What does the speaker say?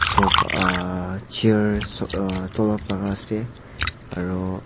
Sofa chairs uah dunlop laka ase aro --